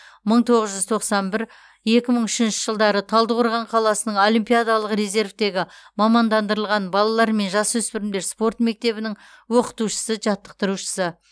мың тоғыз жүз тоқсан бір екі мың үшінші жылдары талдықорған қаласының олимпиадалық резервтегі мамандандырылған балалар мен жасөспірімдер спорт мектебінің оқытушысы жаттықтырушысы